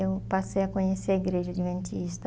Eu passei a conhecer a Igreja Adventista.